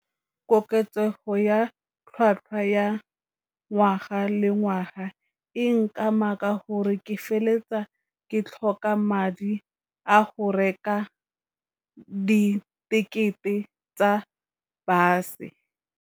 Koketsego ya tlhatlhwa ya ngwaga le ngwaga, e nkama ka gore ke feleletsa ke tlhoka madi a go reka di tekete tsa bus-e.